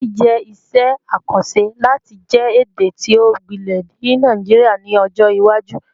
Gẹẹsi jẹ iṣẹ akanṣe lati jẹ ede ti o gbilẹ ni Naijiria ni ọjọ iwaju